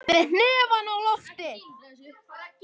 Með hnefann á lofti.